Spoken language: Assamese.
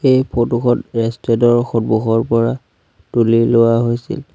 এই ফটোখন ৰেষ্টোৰেণ্টৰ সন্মুখৰ পৰা তুলি লোৱা হৈছে।